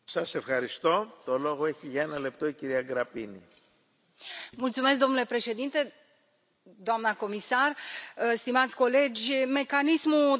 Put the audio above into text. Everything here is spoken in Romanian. Domnule președinte, doamnă comisar, stimați colegi, mecanismul de filtrare și examinare a investițiilor străine în Uniunea Europeană este o necesitate.